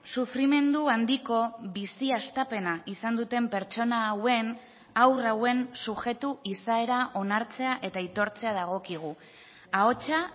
sufrimendu handiko bizi hastapena izan duten pertsona hauen haur hauen subjektu izaera onartzea eta aitortzea dagokigu ahotsa